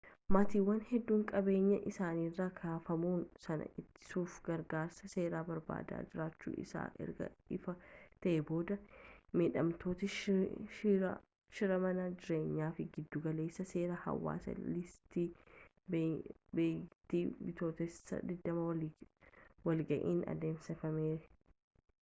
maatiiwwan hedduun qabeenyaa isaaniirraa kaafamuu sana ittisuuf gargaarsa seeraa barbaadaa jiraachuun isaanii erga ifa ta'ee booda miidhamtoota shira mana jireenyaatiif giddugala seeraa hawaasa iisti beeyitti bitootessa 20 walga'iin adeemsifame